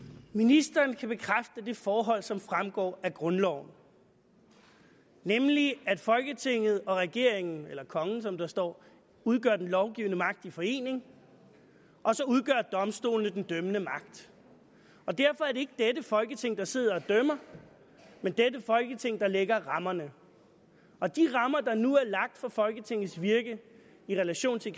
ministeren kan bekræfte det forhold som fremgår af grundloven nemlig at folketinget og regeringen eller kongen som der står udgør den lovgivende magt i forening og så udgør domstolene den dømmende magt derfor er det ikke dette folketing der sidder og dømmer men dette folketing der lægger rammerne og de rammer der nu er lagt for folketingets virke i relation til